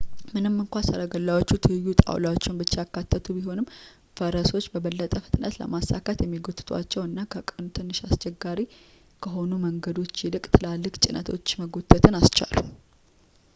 ምንም እንኳን ሰረገላዎቹ ትይዩ ጣውላዎችን ብቻ ያካተቱ ቢሆኑም ፈረሶችን በበለጠ ፍጥነትን ለማሳካት የሚጎትቷቸው እና ከቀኑ ትንሽ አስቸጋሪ ከሆኑ መንገዶች ይልቅ ትላልቅ ጭነቶች መጎተትን ኣስቻሉ